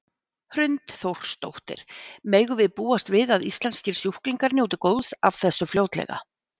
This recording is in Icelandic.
Hrund Þórsdóttir: Megum við búast við að íslenskir sjúklingar njóti góðs af þessu fljótlega?